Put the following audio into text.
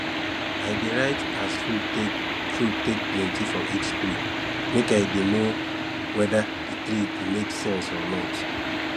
i dey write as fruit take fruit take plenty for each tree make i dey know wede di tree make sense or not